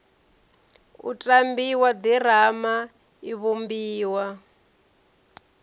u tambiwa ḓirama i vhumbiwa